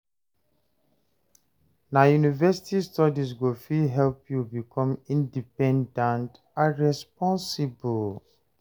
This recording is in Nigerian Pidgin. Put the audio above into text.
Na university studies go fit help you become independent and responsible.